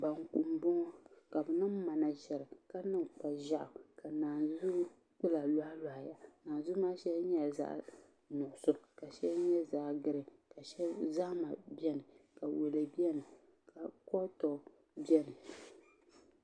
Banku n boŋo ka bi niŋ mana ʒɛri ka niŋ kpa ƶɛɣu ka naan zu kpula lohi lohiya naanzuu maa shɛli nyɛla zaɣ nuɣso ka shɛli nyɛ zaɣ nuɣso ka zahama biɛni ka wulɛ biɛni ka akoto biɛni